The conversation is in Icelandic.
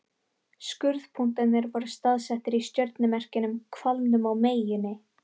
Skurðpunktarnir voru staðsettir í stjörnumerkjunum Hvalnum og Meyjunni.